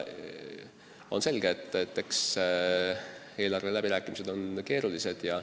On selge, et eelarveläbirääkimised on keerulised.